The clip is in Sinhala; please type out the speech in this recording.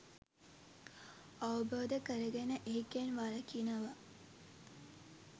අවබෝධ කරගෙන ඒකෙන් වළකිනවා.